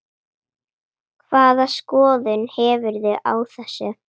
Hvaða skoðun hefurðu á þessu?